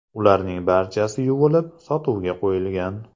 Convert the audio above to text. Ularning barchasi yuvilib, sotuvga qo‘yilgan.